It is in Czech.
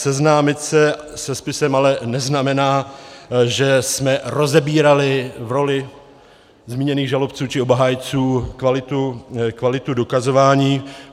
Seznámit se se spisem ale neznamená, že jsme rozebírali v roli zmíněných žalobců či obhájců kvalitu dokazování.